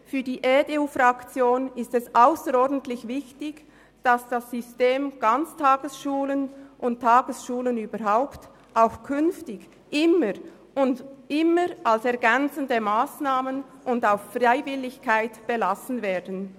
Für die EDU-Fraktion ist es ausserordentlich wichtig, dass das System Ganztagesschulen und Tagesschulen überhaupt auch künftig immer als ergänzende Massnahmen und auf der Basis der Freiwilligkeit belassen werden.